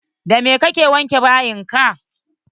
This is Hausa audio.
Da me ka ke wanke bayin ka?